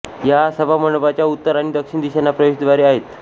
या सभामंडपाच्या उत्तर आणि दक्षिण दिशांना प्रवेशद्वारे आहेत